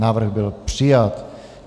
Návrh byl přijat.